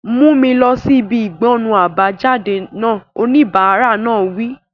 Mú mi lọ sí ibi ìgbọnnu àbájáde náà! Oníbàárà náà wí.